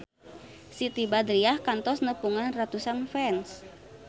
Siti Badriah kantos nepungan ratusan fans